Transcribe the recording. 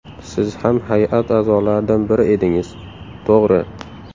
Siz ham hay’at a’zolaridan biri edingiz... To‘g‘ri.